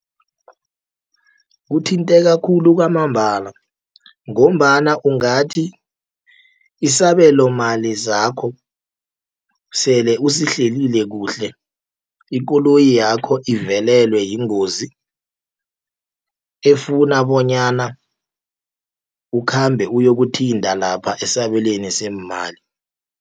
Kuthinteka khulu kwamambala, ngombana ungathi isabelomali zakho sele usihlelile kuhle ikoloyi yakho ivelelwe yingozi efuna bonyana ukhambe uyokuthinta lapha esabelweni seemali.